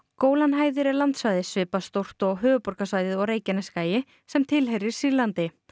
Gólanhæðir er landsvæði svipað stórt og höfuðborgarsvæðið og Reykjanesskagi sem tilheyrir Sýrlandi